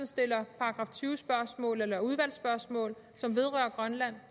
stiller § tyve spørgsmål eller udvalgsspørgsmål som vedrører grønland